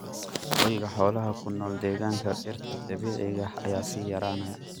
Hoyga xoolaha ku nool deegaanka dhirta dabiiciga ah ayaa sii yaraanaya.